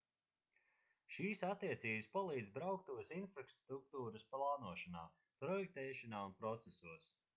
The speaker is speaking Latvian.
šīs attiecības palīdz brauktuves infrastruktūras plānošanā projektēšanā un procesos